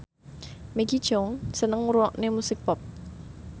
Maggie Cheung seneng ngrungokne musik pop